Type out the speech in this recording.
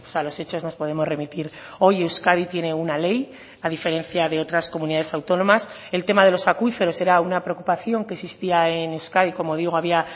a los hechos nos podemos remitir hoy euskadi tiene una ley a diferencia de otras comunidades autónomas el tema de los acuíferos era una preocupación que existía en euskadi como digo había